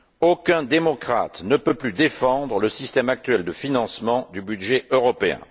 Aucun démocrate ne peut plus défendre le système actuel de financement du budget européen.